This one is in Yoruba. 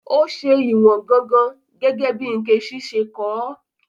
Ó ṣe ìwọ̀n gangan, gẹ́gẹ́ bí Nkechi ṣe kọ́ ọ.